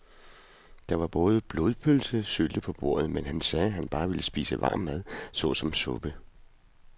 Der var både blodpølse og sylte på bordet, men han sagde, at han bare ville spise varm mad såsom suppe.